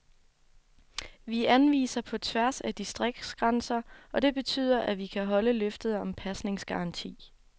Vi anviser på tværs af distriktsgrænser, og det betyder, at vi kan holde løftet om pasningsgaranti.